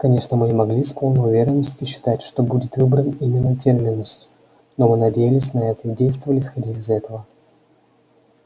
конечно мы не могли с полной уверенностью считать что будет выбран именно терминус но мы надеялись на это и действовали исходя из этого